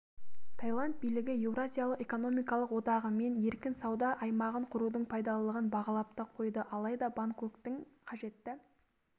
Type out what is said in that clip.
таиланд билігі еуразиялық экономикалық одағымен еркін сауда аймағын құрудың пайдалылығын бағалап та қойды алайда бангкоктің қажетті